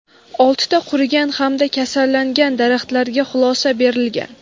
oltita qurigan hamda kasallangan daraxtlarga xulosa berilgan.